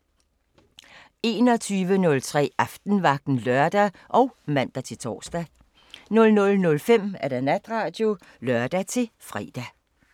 21:03: Aftenvagten (lør og man-tor) 00:05: Natradio (lør-fre)